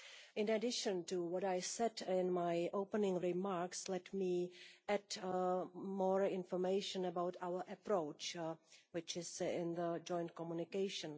In addition to what I said in my opening remarks, let me add some more information about our approach, which is in the joint communication.